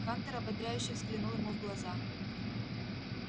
хантер ободряюще взглянул ему в глаза